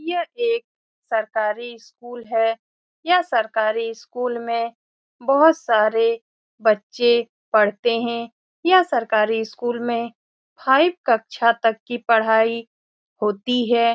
यह एक सरकारी स्कूल है यह सरकारी स्कूल में बहुत सारे बच्चे पढ़ते हैं यह सरकारी स्कूल में फाइव कक्षा तक की पढ़ाई होती है ।